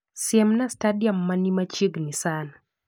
Siemna stadiam mani machiegni sana